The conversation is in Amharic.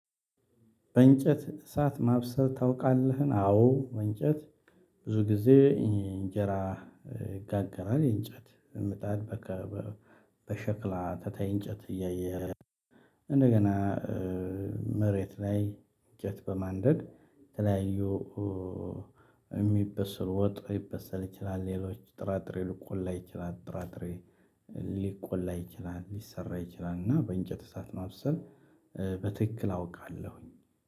በእንጨት እሳት ማብሰል ታውቃለህ? አዎ። በእንጨት ብዙ ጊዜ መሬት ላይ። እጨት በማንደር የተለያዩ የሚበሰል ወጥ ሊበሰል ይችላል። ሌሎች ጥራጥሬ ሊቆላ ይችላል ጥራጥሬ ሊቆላ ይችላል ሊሰራ ይችላል። እና በእንጨት እሳት ማብሰል በትክክል አውቃለሁ።